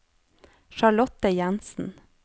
Charlotte Jenssen